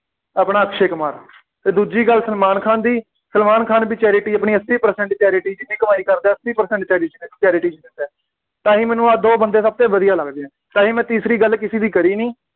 ਆਪਣਾ ਅਕਸ਼ੇ ਕੁਮਾਰ ਅਤੇ ਦੂਜੀ ਗੱਲ ਸਲਮਾਨ ਖਾਨ ਦੀ, ਸਲਮਾਨ ਖਾਨ ਵੀ charity ਆਪਣੀ ਅੱਸੀ percent charity ਜਿੰਨੀ ਕਮਾਈ ਕਰਦਾ ਅੱਸੀ percent charity charity ਵਿੱਚ ਦਿੰਦਾ, ਤਾਂ ਹੀ ਮੈਨੂੰ ਆਹੀ ਦੋ ਬੰਦੇ ਸਭ ਤੋਂ ਵਧੀਆ ਲੱਗਦੇ ਆ, ਤਾਂ ਹੀ ਮੈਂ ਤੀਸਰੀ ਗੱਲ ਕਿਸੇ ਦੀ ਕਰੀ ਨਹੀਂ,